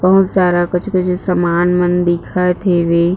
बहुत सारा कुछ कुछ सामान मन दिखत हवे।